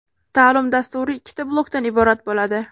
Ta’lim dasturi ikkita blokdan iborat bo‘ladi.